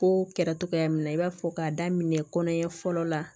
Ko kɛra cogoya min na i b'a fɔ k'a daminɛ kɔnɔɲɛ fɔlɔ la